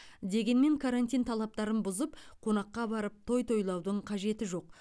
дегенмен карантин талаптарын бұзып қонаққа барып той тойлаудың қажеті жоқ